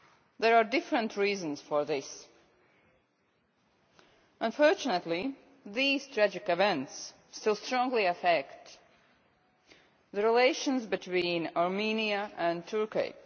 There are different reasons for this. Unfortunately, these tragic events still strongly affect the relations between Armenia and Turkey.